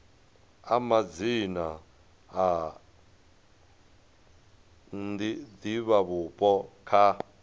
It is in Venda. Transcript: a madzina a divhavhupo kha